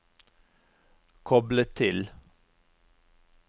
koble til